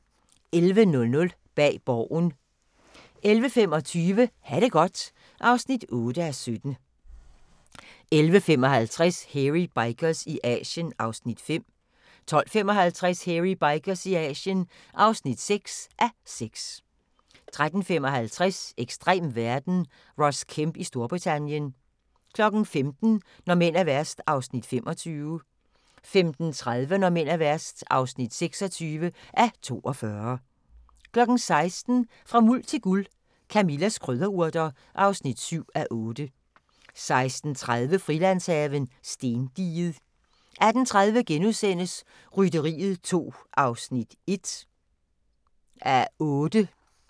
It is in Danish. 11:00: Bag Borgen 11:25: Ha' det godt (8:17) 11:55: Hairy Bikers i Asien (5:6) 12:55: Hairy Bikers i Asien (6:6) 13:55: Ekstrem verden – Ross Kemp i Storbritannien 15:00: Når mænd er værst (25:42) 15:30: Når mænd er værst (26:42) 16:00: Fra Muld til Guld – Camillas krydderurter (7:8) 16:30: Frilandshaven – Stendiget 18:30: Rytteriet 2 (1:8)*